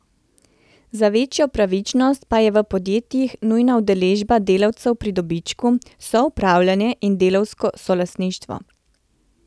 Za večjo pravičnost pa je v podjetjih nujna udeležba delavcev pri dobičku, soupravljanje in delavsko solastništvo.